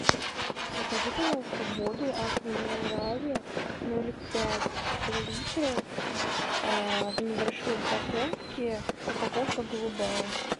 закажи пожалуйста воду аква минерале ноль пять литров в небольшой упаковке упаковка голубая